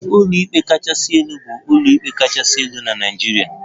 Ụlọikpe kachasị elu bụ ụlọikpe kachasị elu na Naịjirịa